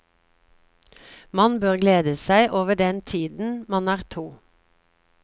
Man bør glede seg over den tiden man er to.